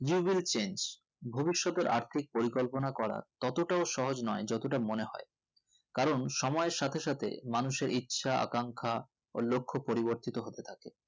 you will change ভবিষতের আর্থিক পরিকল্পনা করার ততটাও সহজ নোই যতটা মনে হয় কোন সময়ের সাথে সাথে মানুষের ইচ্ছা আখাঙ্খা ও লক্ষ পরিবর্তিত হতে থাকে